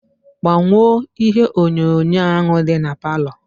Gbanwo ihe onyonyo ahu di na parlour.